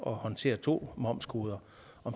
at håndtere to momskoder